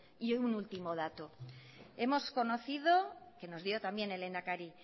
y un último dato hemos conocido que nos dio también el lehendakari